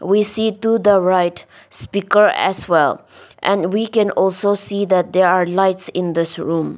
we see to the right speaker as well and we can also see that there are lights in this room.